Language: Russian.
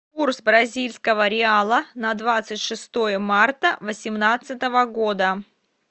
курс бразильского реала на двадцать шестое марта восемнадцатого года